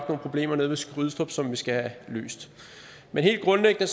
problemer nede ved skrydstrup som vi skal have løst men helt grundlæggende